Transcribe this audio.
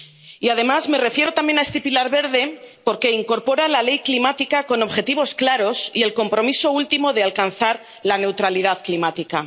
Y, además, me refiero también a este pilar verde porque incorpora la ley climática con objetivos claros y el compromiso último de alcanzar la neutralidad climática.